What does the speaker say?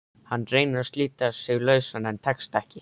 Hann reynir að slíta sig lausan en tekst ekki.